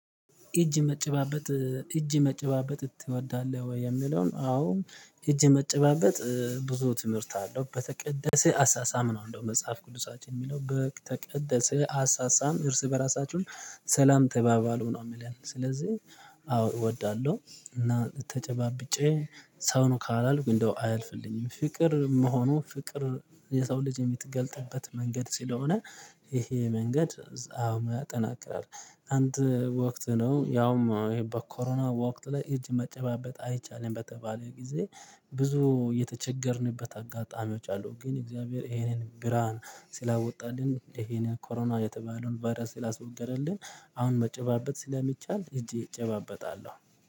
እጅ መጨባበጥ እጅ መጨባበጥ ትወዳለህ ወይ? የሚለውን አዎ እጅ መጨባበጥ ብዙ ትምህርት አለው በተቀደሰ አሳሳም ነው እንደው መጽሐፍ ቅዱሳችን የሚለው በተቀደሰ አሳሳም እርስ በራሳችሁም ሰላም ተባባሉ ነው የሚለን። ስለዚህ አው እወዳለሁ እና ተጨባብጬ ሰው ነው ካላልኩ እንደው አያልፍልኝም ፍቅር መሆኑ ፍቅር የሰው ልጅ የሚትገልጥበት መንገድ ስለሆነ ይሄ መንገድ አሁን ያጠናክራል። አንድ ወቅት ነው ያውም በኮሮና በወቅት ላይ እጅ መጨባበጥ አይቻልም በተባለው ጊዜ ብዙ የተቸገርንበት አጋጣሚዎች አሉ ግን እግዚአብሔር ይሄንን ብርሃን ስላወጣልን ይሄንን ኮሮና የተባለውን ቫይረስ ስላስወገደልን አሁን መጨባበጥ ስለሚቻል እጅ እጨባበጣለሁ